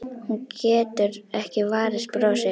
Hún getur ekki varist brosi.